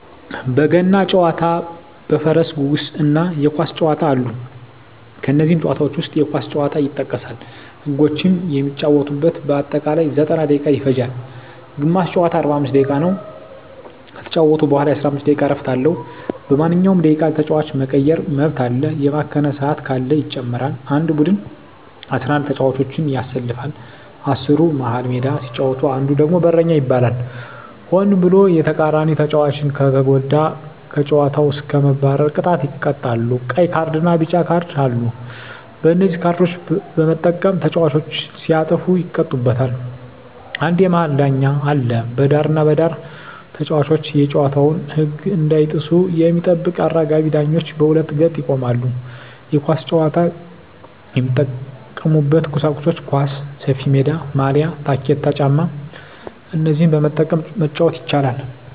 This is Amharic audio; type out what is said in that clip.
በገና ጨዋታ በፈረስ ጉግስ እና የኳስ ጨዋታ አሉ ከነዚህም ጨዋታዎች ዉስጥ የኳስ ጨዋታ ይጠቀሳል ህጎችም የሚጫወቱበት በአጠቃላይ 90ደቂቃ ይፈጃል ግማሽ ጨዋታ 45 ደቂቃ ነዉ ከተጫወቱ በኋላ የ15 ደቂቃ እረፍት አለዉ በማንኛዉም ደቂቃ ተጫዋች የመቀየር መብት አለ የባከነ ሰአት ካለ ይጨመራል አንድ ቡድን 11ተጫዋቾችን ያሰልፋል አስሩ መሀል ሜዳ ሲጫወት አንዱ ደግሞ በረኛ ይባላል ሆን ብሎ የተቃራኒተጫዋቾችን ከተጎዳ ከጨዋታዉ እስከ መባረር ቅጣት ይቀጣሉ ቀይ ካርድና ቢጫ ካርድ አሉ በነዚህ ካርዶች በመጠቀም ተጫዋቾች ሲያጠፉ ይቀጡበታል አንድ የመሀል ዳኛ አለ በዳርና በዳር ተጫዋቾች የጨዋታዉን ህግ እንዳይጥሱ የሚጠብቁ አራጋቢ ዳኞች በሁለት ገጥ ይቆማሉ የኳስ ጫዋች የሚጠቀሙበት ቁሳቁሶች ኳስ፣ ሰፊሜዳ፣ ማልያ፣ ታኬታ ጫማ እነዚህን በመጠቀም መጫወት ይቻላል